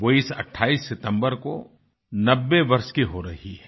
वो इस 28 सितम्बर को 90 वर्ष की हो रही हैं